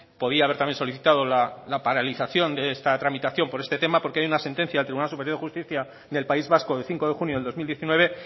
podía haber solicitado también la paralización de esta tramitación por este tema porque hay una sentencia del tribunal superior de justicia del país vasco de cinco de junio de dos mil diecinueve